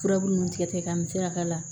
Furabulu nunnu tigɛ ka misɛnya ka la